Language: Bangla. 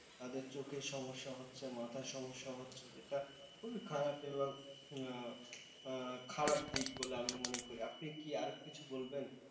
তাদের চোখের সমস্যা হচ্ছে, মাথায় সমস্যা হচ্ছে যেটা খুবই খারাপ এবং খারাপ দিক বলে আমি মনে করি। আপনি কি আর কিছু বলবেন?